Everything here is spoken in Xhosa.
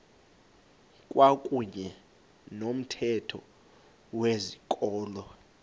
kwakuyne nomthetho wezikolo